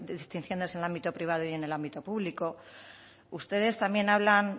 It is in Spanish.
distinciones en el ámbito privado y en el ámbito público ustedes también hablan